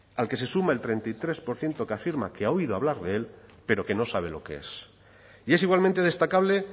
al que se sume el treinta y tres por ciento que afirma que ha oído hablar de él pero que no sabe lo que es y es igualmente destacable